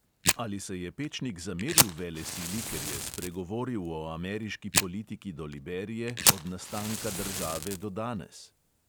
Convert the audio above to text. Ali se je pečnik zameril velesili, ker je spregovoril o ameriški politiki do liberije od nastanka države do danes?